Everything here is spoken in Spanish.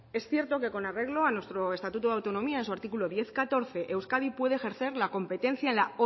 es cierto que con arreglo a nuestro estatuto de autonomía en su artículo diez punto catorce euskadi puede ejercer la competencia en la